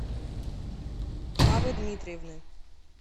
хавы дмитриевны